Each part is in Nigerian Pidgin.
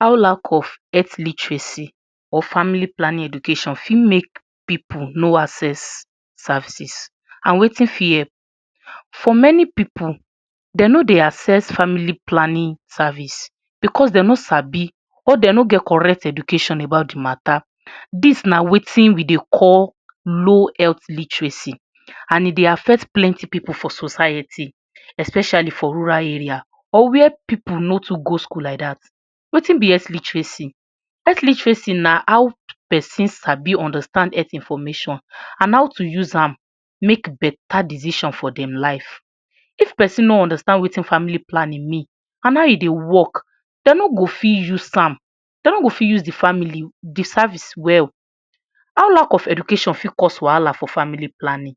How lack of health literacy or family planning education fit make pipu no access services and wetin fit help for many pipu dem no dey access family planning service because dem no sabi or dem no get correct education about the matter this na wetin we dey call low health literacy and e dey affect many pipu for society especially for rural area or where pipu no too go school like that, wetin be health literacy, health literacy na how person sabi understand health information and how to use am make better decision for dem life, if person no understand wetin family planning mean and how e dey work dem no go fit use am dem no go fit use the family, the service well, how lack of education fit cause wahala for family planning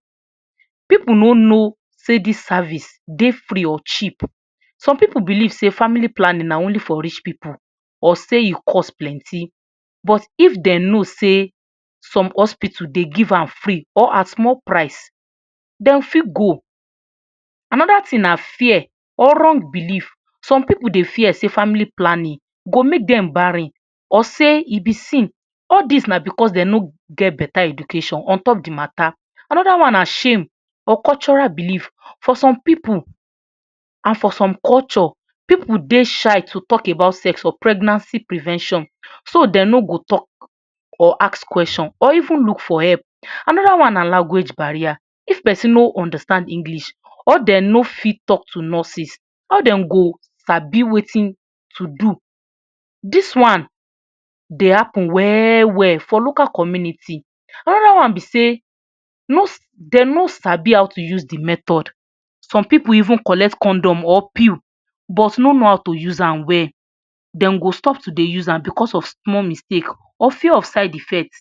pipu no know sey this service dey free or cheap some pipu believe sey family planning na only for rich pipu or sey e cost plenty but if dem know sey some hospital dey give am free or at small price dem fit go, another thing na fear or wrong belief, some pipu dey fear sey family planning go make dem barren or sey e be sin all this na because dem no get better education on top the matter another one na shame or cultural belief for some pipu and for some culture pipu dey shy to talk about sex or pregnancy prevention so dem no go talk or ask question or even look for help another one na language barrier, if person no understand English or dem no fit talk to nurses how dem go sabi wetin to do, this one dey happen well well for local community another one be sey dem no sabi how to use the method some pipu even collect condom or pill but no know how to use am well dem go stop to dey use am because of small mistake or fear of side effect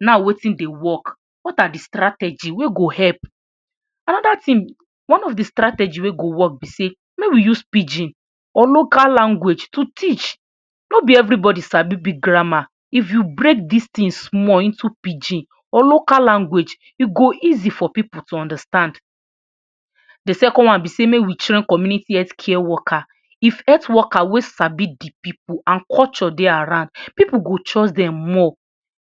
now wetin dey work what are the strategy wey go help, another thing, one of the strategy wey go work be sey make we use pidgin or local language to teach no be everybody sabi big grammar if you break this thing small into pidgin or local language e go easy for pipu to understand, the second one be sey make we train community health care worker if health worker wey sabi the pipu and culture dey around pipu go choose dem more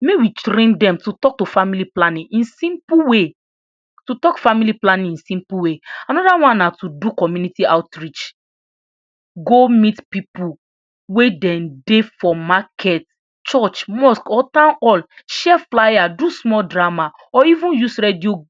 make we train dem to talk to family planning in simple way to talk family planning in simple way, another one na to do community outreach, go meet pipu wey dem dey for market, church, mosque or town hall share flyer do small drama or even use radio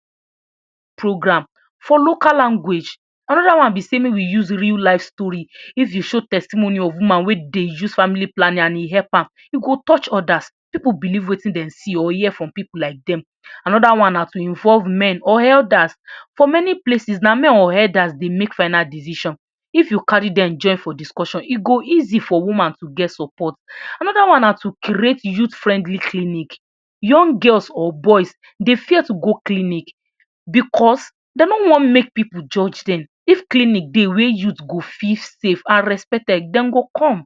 program for local language another one be sey make we use real life story if you show testimony of woman wey dey use family planning and e help am e go touch others pipu believe wetin dem see or hear from pipu like dem another one na to involve men or elders for many places na men or elders dey make final decision if you carry dem join for discussion e go easy for woman to get support, another one na to create youth friendly clinic, young girls or boys dey fear to go clinic because dem no want make pipu judge dem if clinic dey wey youth go feel safe and respected dem go come.